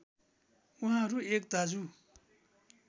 उहाँहरू एक दाजु